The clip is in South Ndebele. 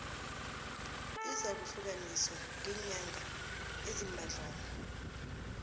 izakuhlukaniswa ngeenyanga eziimbadlwana